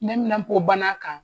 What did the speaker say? Neminanpo bana kan.